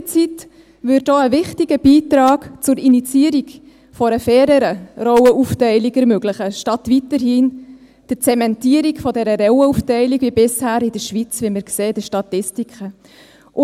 Elternzeit würde auch einen wichtigen Beitrag zur Initiierung einer faireren Rollenaufteilung ermöglichen, statt weiterhin die Zementierung der Rollenaufteilung wie bisher in der Schweiz, wie wir in den Statistiken sehen.